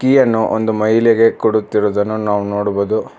ಕಿ ಅನ್ನು ಒಂದು ಮಹಿಲೆಗೆ ಕೊಡುತ್ತಿರುದನ್ನು ನಾವು ನೋಡಬೊದು.